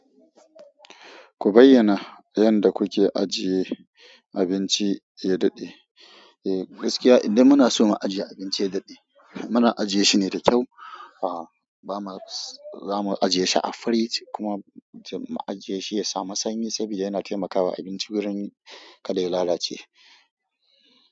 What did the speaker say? Ku bayyana yanda kuke ajiye abinci ya daɗe? Eh gaskiya idan muna so mu ajiye abinci ya daɗe, muna ajiye shine da kyau. A'a ba ma, za mu ajiye shi a firij kuma mu ajiye shi ya samu sanyi saboda yana taimakawa abinci wurin kada ya lalace.